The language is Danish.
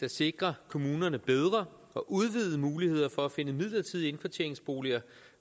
at sikre kommunerne bedre og udvidede muligheder for at finde midlertidige indkvarteringsboliger